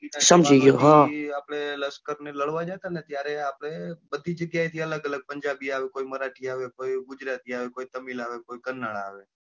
આપડે લશ્કર ને લડવા જતા ને ત્યારે આપડે બધી જગ્યા એ થી અલગ અલગ પંજાબી આવે કોઈ મરાઠીઆવે કોઈ ગુજરાતી આવે કોઈ તમિલ આવે કોઈ કરનાળ આવે,